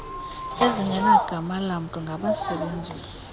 ezingenagama lamntu ngabasebenzisi